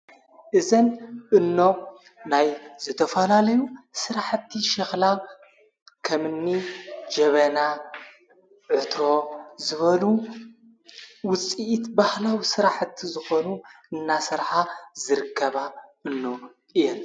እዘን እኖ ናይ ዘተፋላለዩ ሥራሕእቲ ሽኽላ ኸምኒ ጀበና ዕትሮ ዝበሉ ውፂኢት ባህላው ሥራሕቲ ዝኾኑ እናሠርኃ ዘርከባ እኖ እየን::